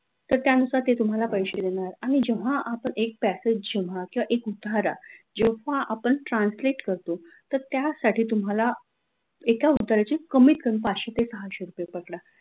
तर त्यानुसार ते तुम्हाला पैसे देणार आणि जेव्हा आपण एक passage जेव्हा किंवा एक उतारा जेव्हापण translate करतो तर त्यासाठी तुम्हाला एका उताऱ्याचे कमीत कमी पाचशे ते सहाशे रुपये पकडा.